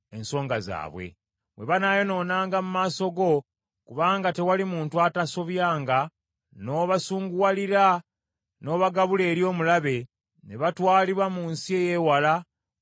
“Bwe banaayonoonanga mu maaso go, kubanga tewali muntu atasobyanga, n’obasunguwalira n’obagabula eri omulabe, ne batwalibwa mu nsi eyeewala oba eyokumpi;